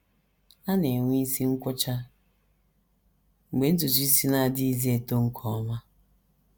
A na - enwe isi nkwọcha mgbe ntutu isi na - adịghịzi eto nke ọma.